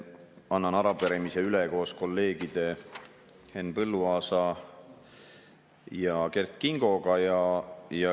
Annan arupärimise üle koos kolleegide Henn Põlluaasa ja Kert Kingoga.